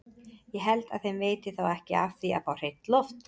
Ég held að þeim veiti þá ekki af því að fá hreint loft!